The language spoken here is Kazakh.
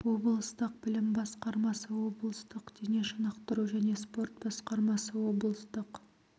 облыстық білім басқармасы облыстық дене шынықтыру және спорт басқармасы облыстық